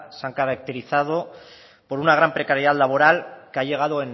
se han caracterizado por una gran precariedad laboral que ha llegado